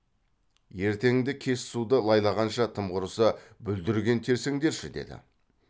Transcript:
ертеңді кеш суды лайлағанша тым құрыса бүлдірген терсеңдерші деді